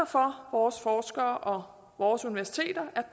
vores forskere og universiteter er